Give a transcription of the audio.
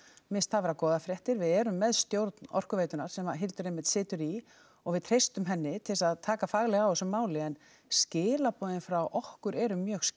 mér finnst það vera góðar fréttir við erum með stjórn Orkuveitunnar sem Hildur einmitt situr í og við treystum henni til þess að taka faglega á þessu máli en skilaboðin frá okkur eru mjög skýr